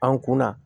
An kunna